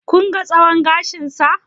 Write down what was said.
Kun ga tsawon gashinsa?